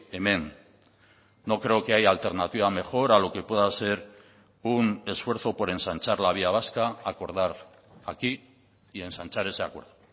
hemen no creo que haya alternativa mejor a lo que pueda ser un esfuerzo por ensanchar la vía vasca acordar aquí y ensanchar ese acuerdo